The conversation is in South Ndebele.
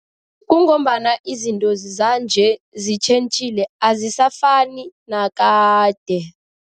Kungombana izinto zanje zitjhentjhile, azisafani nakade.